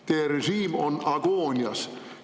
Teie režiim on agoonias!